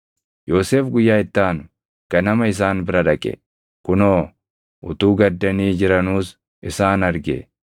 Yoosef guyyaa itti aanu ganama isaan bira dhaqe; kunoo utuu gaddanii jiranuus isaan arge.